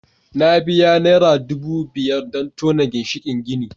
Na biya Naira dubu biyar don tona ginshikin gini